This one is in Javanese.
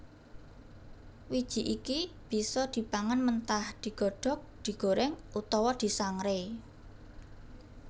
Wiji iki bisa dipangan mentah digodhog digorèng utawa disangrai